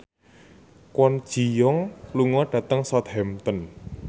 Kwon Ji Yong lunga dhateng Southampton